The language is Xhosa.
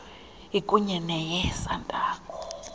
ikunye neye santaco